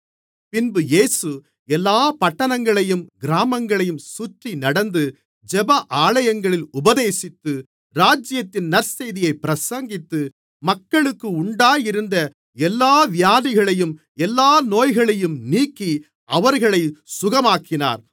பின்பு இயேசு எல்லாப் பட்டணங்களையும் கிராமங்களையும் சுற்றி நடந்து ஜெப ஆலயங்களில் உபதேசித்து ராஜ்யத்தின் நற்செய்தியைப் பிரசங்கித்து மக்களுக்கு உண்டாயிருந்த எல்லா வியாதிகளையும் எல்லா நோய்களையும் நீக்கி அவர்களைச் சுகமாக்கினார்